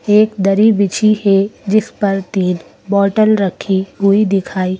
एक दरी बिछी है जिस पर तीन बोटल रखी हुई दिखाई--